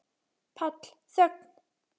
PÁLL: Þögn!